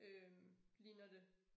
Øh ligner det